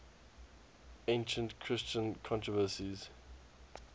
ancient christian controversies